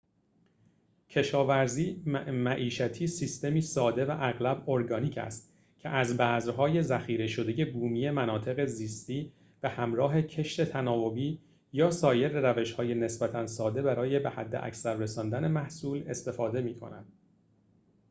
کشاورزی معیشتی سیستمی ساده و اغلب ارگانیک است که از بذرهای ذخیره‌شده بومی مناطق زیستی به همراه کشت تناوبی یا سایر روش‌های نسبتاً ساده برای به حداکثر رساندن محصول استفاده می‌کند